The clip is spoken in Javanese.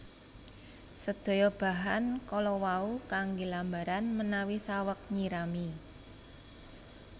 Sedaya bahan kala wau kanggè lambaran menawi saweg nyirami